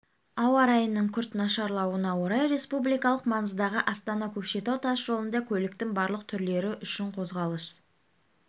ауа райының күрт нашарлауына орай республикалық маңыздағы астана-көкшетау тас жолында көліктің барлық түрлері үшін қозғалыс